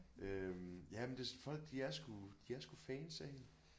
Øh ja men det folk de er sgu de er sgu fans af hende